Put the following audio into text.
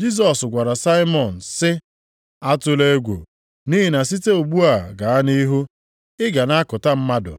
Jisọs gwara Saimọn sị, “Atụla egwu, nʼihi na site ugbu a gaa nʼihu, ị ga na-akụta mmadụ.”